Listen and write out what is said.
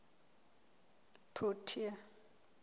protea